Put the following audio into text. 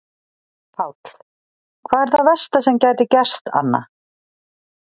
Páll: Hvað er það versta sem gæti gerst Anna?